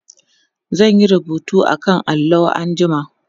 zan Yi rubutu akan allo anjima